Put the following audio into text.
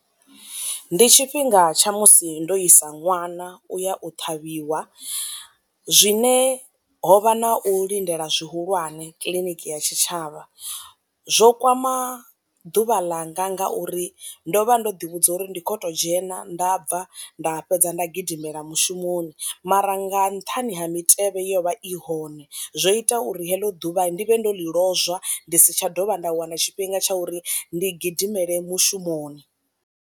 Ndi tshifhinga tsha musi ndo isa ṅwana u ya u ṱhavhiwa, zwine ho vha na u lindela zwi hulwane kiḽiniki ya tshitshavha. Zwo kwama ḓuvha ḽanga nga uri ndo vha ndo ḓi vhudza uri ndi kho to dzhena nda bva nda fhedza nda gidimela mushumoni, mara nga nṱhani ha mitevhe yo vha i hone zwo ita uri heḽo ḓuvha ndi vhe ndo ḽi lozwa ndi si tsha dovha nda wana tshifhinga tsha uri ndi gidimele mushumoni.